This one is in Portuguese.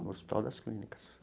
No Hospital das Clínicas.